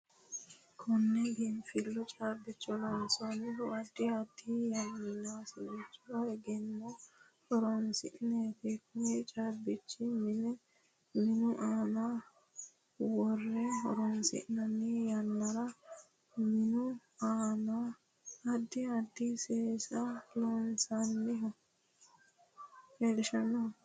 Konne biinfillu caabicho lonsoonihu addi addi yanaasicho egenno horoonsineeti kuni caabichi minu aana worre horoonsinanni yannara minu aana addi addi seesa leelishanno